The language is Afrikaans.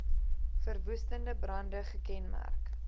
verwoestende brande gekenmerk